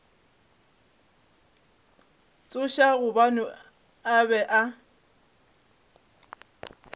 tšhoša gobane a be a